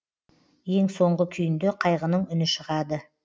ең соңғы күйінде қайғының үні шығады